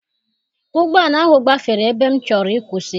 Ụgbọala ahụ gbafere ebe m chọrọ ịkwụsị.